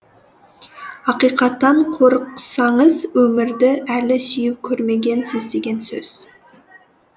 ақиқаттан қорықсаңыз өмірді әлі сүйіп көрмегенсіз деген сөз